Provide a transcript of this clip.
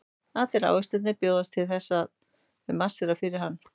Allir ávextirnir bjóðast til þess og þau marsera fyrir hann.